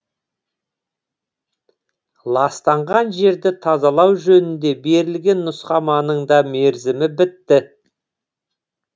ластанған жерді тазалау жөнінде берілген нұсқаманың да мерзімі бітті